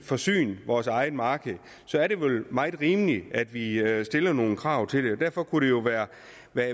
forsyne vores eget marked er det vel meget rimeligt at vi stiller nogle krav til det derfor kunne det jo være